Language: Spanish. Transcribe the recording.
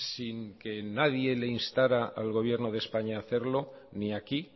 sin que nadie le instara al gobierno de españa a hacerlo ni aquí